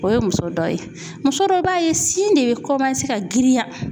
O ye muso dɔ ye, muso dɔ b'a ye sin de bɛ ka girinya.